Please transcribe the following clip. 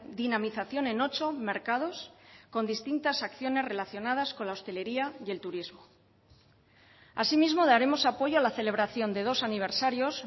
dinamización en ocho mercados con distintas acciones relacionadas con la hostelería y el turismo asimismo daremos apoyo a la celebración de dos aniversarios